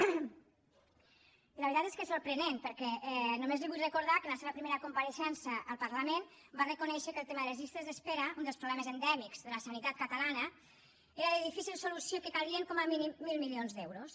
i la veritat és que és sorprenent perquè només li vull recordar que en la seva primera compareixença al parlament va reconèixer que el tema de les llistes d’espera un dels problemes endèmics de la sanitat catalana era de difícil solució i que calien com a mínim mil milions d’euros